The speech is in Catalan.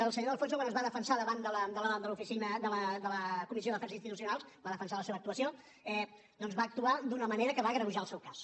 el senyor de alfonso quan es va defensar davant de la comissió d’afers institucionals va defensar la seva actuació doncs va actuar d’una manera que va agreujar el seu cas